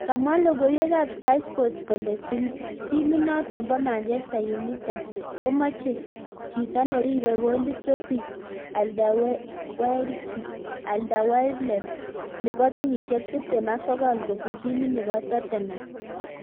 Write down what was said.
Kamwa logoiwek ab sky sports kole timit notok bo Manchester Unitem komache chito neribe golit Toby Alderweireld nebo kenyishek tiptem ak sogol kopun timit nebo Tottenham